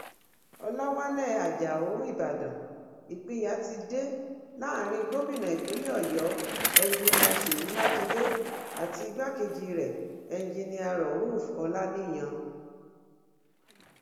ọlàwálẹ ajáò ìbàdàn ìpínyà ti dé láàrin gómìnà ìpínlẹ ọyọ enjiníà ṣèyí mákindè àti igbákejì rẹ enjinníà rauf ọlàníyàn